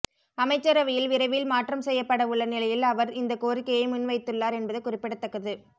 அமைச்சரவையில் விரைவில் மாற்றம் செய்யப்பட உள்ள நிலையில் அவர் இந்தக் கோரிக்கையை முன்வைத்துள்ளார் என்பது குறிப்பிடத்தக்கது